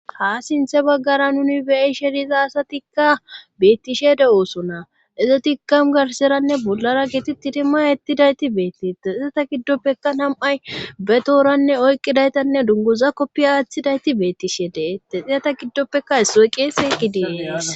ha sinthe baggara nuni beyi sheriza asatikka beettishede ooso na izetika garseranne bollara giti tirima ittidayti beettite xisata giddoppeka tam7ay be tooranne oyqqidaytanne dungoza koppi aaththidayti beettishe deete xezeta giddoppeka issoy qeeseqidee'es